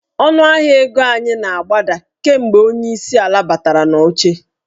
Ọnụahịa ego anyị na-agbada kemgbe onyeisi ala a batara n'oche.